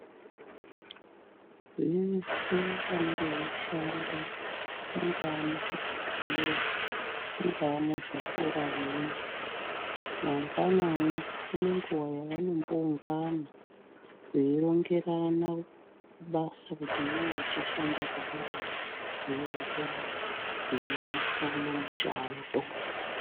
Vese vanenge veishanda mungaa muzvibhebhlera, munga muzvikora mwo mangwanani vanenguva yavanaomboungana veirongerana basa kuti iwewe uchashanda zvakadai iwewe uchadai veionesana mushando.